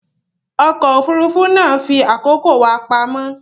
Ọkọ̀ òfurufú náà fi àkókò wa pamọ́